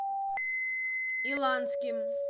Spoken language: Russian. иланским